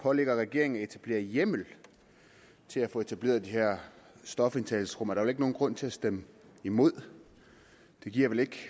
pålægger regeringen at etablere hjemmel til at få etableret de her stofindtagelsesrum er der vel ikke nogen grund til at stemme imod det giver vel ikke